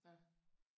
Ja